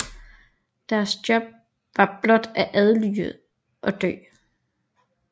Deres job var blot at adlyde og dø